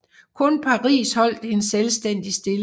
Kun Paris holdt en selvstændig stilling